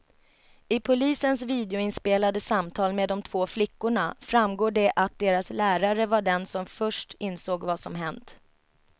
I polisens videoinspelade samtal med de två flickorna framgår det att deras lärare var den som först insåg vad som hänt.